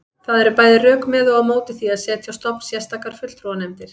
Það eru bæði rök með og á móti því að setja á stofn sérstakar fulltrúanefndir.